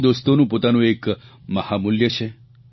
જૂના દોસ્તોનું પોતાનું એક મહામૂલ્ય છે